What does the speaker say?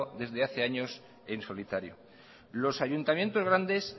desde hace años en solitario los ayuntamientos grandes